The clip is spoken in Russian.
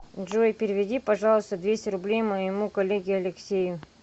джой переведи пожалуйста двести рублей моему коллеге алексею